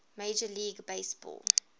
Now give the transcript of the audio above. major league baseball